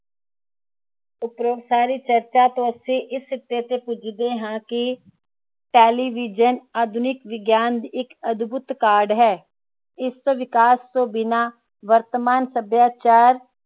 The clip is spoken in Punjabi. ਉਪਰੋਂ ਸਾਰੀ ਚਰਚਾ ਤੋਂ ਅਸੀਂ ਇਸ ਸਿੱਟੇ ਤੇ ਪੁੱਜਦੇ ਹਾਂ ਕਿ Television ਆਧੁਨਿਕ ਵਿਗਿਆਨ ਦੀ ਅਦੁਭੂਤ ਕਾਢ ਹੈ ਇਸਦੇ ਵਿਕਾਸ ਤੋਂ ਬਿਨਾ ਵਰਤਮਾਨ ਸੱਭਿਆਚਾਰ